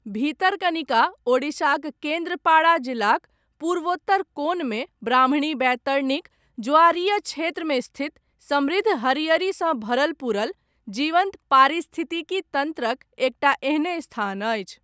भितरकनिका, ओडिशाक, केन्द्रपाड़ा जिलाक, पूर्वोत्तर कोनमे, ब्राह्मणी बैतरणीक, ज्वारीय क्षेत्रमे स्थित, समृद्ध, हरियरीसँ भरल पुरल, जीवन्त पारिस्थितिकी तन्त्रक, एकटा एहने स्थान अछि।